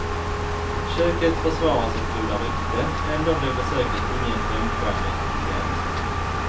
Köket försvarar sitt goda rykte, ändå blev besöket ingen femstjärning upplevelse.